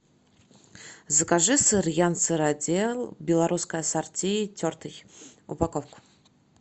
закажи сыр ян сыродел белорусское ассорти тертый упаковку